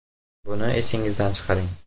Buni esingizdan chiqaring.